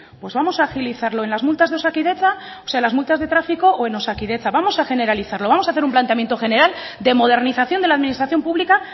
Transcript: pues vamos a agilizarlo en las multas de tráfico o en osakidetza vamos a generalizarlo vamos a hacer un planteamiento general de modernización de la administración pública